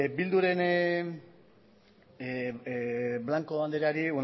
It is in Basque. bilduren blanco andreari